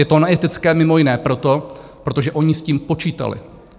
Je to neetické mimo jiné proto, protože oni s tím počítali.